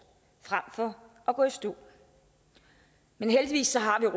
frem for at gå i stå men heldigvis har